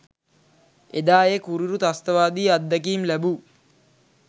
එදා ඒ කුරිරු ත්‍රස්තවාදී අත්දැකීම් ලැබූ